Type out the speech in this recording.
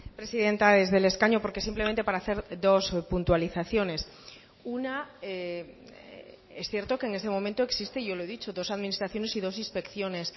presidenta desde el escaño porque simplemente para hacer dos puntualizaciones una es cierto que en este momento existe yo lo he dicho dos administraciones y dos inspecciones